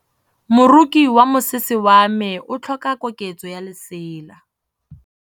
Moroki wa mosese wa me o tlhoka koketsô ya lesela.